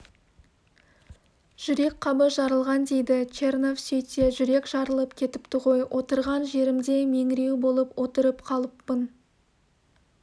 жүрек қабы жарылған дейді чернов сөйтсе жүрек жарылып кетіпті ғой отырған жерімде меңіреу болып отырып қалыппын